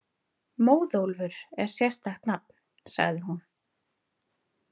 Móðólfur er sérstakt nafn, sagði hún.